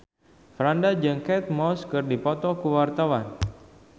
Franda jeung Kate Moss keur dipoto ku wartawan